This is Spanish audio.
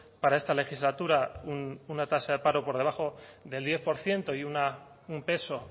para esta legislatura una tasa de paro por debajo del diez por ciento y un peso